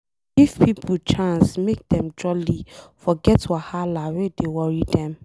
E dey give pipo chance make Dem jolly forget Wahala wey dey worry Dem.